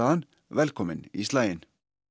hann velkominn í slaginn